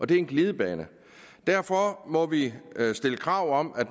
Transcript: det er en glidebane derfor må vi stille krav om at